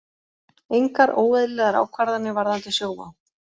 Engar óeðlilegar ákvarðanir varðandi Sjóvá